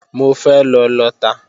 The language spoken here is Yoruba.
Mo fẹ́ lọ lọta